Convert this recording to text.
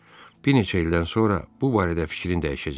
Bir neçə ildən sonra bu barədə fikrin dəyişəcək.